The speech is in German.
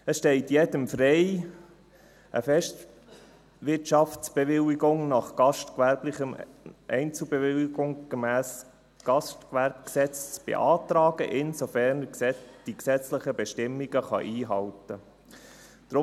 Es steht jedem frei, eine Festwirtschaftsbewilligung als Einzelbewilligung gemäss Gastgewerbegesetz (GGG) zu beantragen, sofern er die gesetzlichen Bestimmungen einhalten kann.